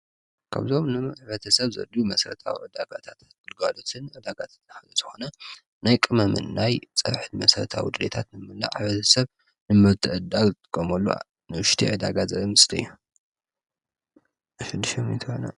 ከብዞም ን ኣኅበተ ሰብ ዘዱ መሠረታዊ ዕዳጋታት ብልጓዶትን ዕዳጋዝትና ሕዘዝኾነ ናይ ቀመምንናይ ጸብሕድ መሠረታ ውድልታት ንምና ኣኅበተ ሰብ ንመርተእዳል ቀምሉ ንዉሽቲ ዕዳጋ እዩ ::